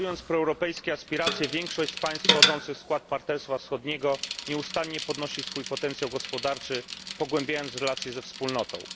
Realizując proeuropejskie aspiracje, większość z państw wchodzących w skład Partnerstwa Wschodniego nieustannie zwiększa swój potencjał gospodarczy, pogłębiając relacje ze Wspólnotą.